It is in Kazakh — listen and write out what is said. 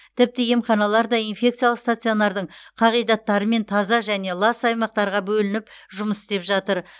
тіпті емханалар да инфекциялық стационардың қағидаттарымен таза және лас аймақтарға бөлініп жұмыс істеп жатыр